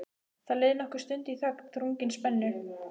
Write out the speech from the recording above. Það leið nokkur stund í þögn, þrungin spennu.